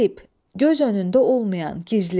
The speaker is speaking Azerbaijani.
Qeyb, göz önündə olmayan, gizli.